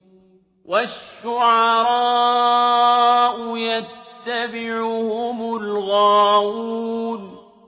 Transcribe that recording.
وَالشُّعَرَاءُ يَتَّبِعُهُمُ الْغَاوُونَ